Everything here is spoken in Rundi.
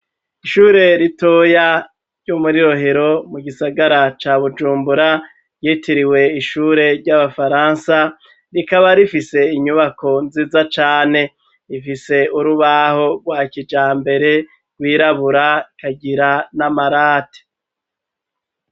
ishure ritoya ryo muri Rohero mu gisagara ca Bujumbura ryitiriwe ishure ry'abafaransa rikaba rifise inyubako nziza cane, rifise urubaho rwa kijambere rw'irabura rukagira n'amarate.